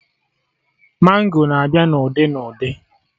Mango na-abịa na ụdị na ụdị